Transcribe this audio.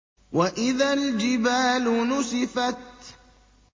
وَإِذَا الْجِبَالُ نُسِفَتْ